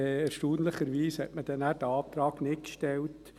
Erstaunlicherweise hat man diesen Antrag in der FiKo dann nicht gestellt.